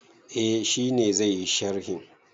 Eh, shi ne zai yi sharhin.